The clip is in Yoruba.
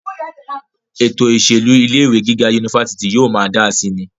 ètò ìṣèlú ilé ìwé gíga unifásitì yóò máa dáa síi ni